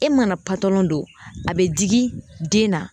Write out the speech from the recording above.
E mana patalɔn don a be digi den na